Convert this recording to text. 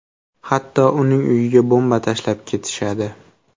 Hatto uning uyiga bomba tashlab ketishadi.